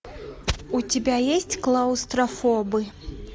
у тебя есть клаустрофобы